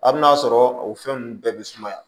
A bɛ n'a sɔrɔ o fɛn ninnu bɛɛ bɛ sumaya